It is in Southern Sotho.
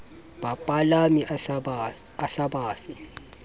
bapalami a sa ba fe